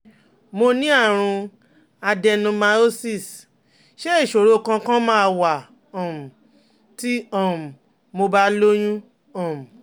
Mo ní àrùn adenomyosis ṣé isoro kankan ma wa um ti um mo ba lóyún? um